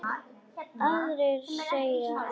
Aðrir segja annað.